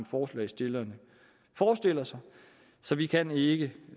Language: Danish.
forslagsstillere forestiller sig så vi kan ikke